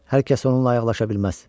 Hər kəs onunla ayaqlaşa bilməz.